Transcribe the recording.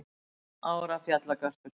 Fimm ára fjallagarpur